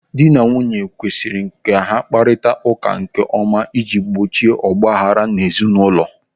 Dị na nwunye kwesiri ka ha na-akparịta ụka nkeọma ịji gbochie ọgbaaghara ezi n'ụlọ.